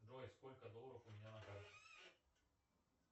джой сколько долларов у меня на карте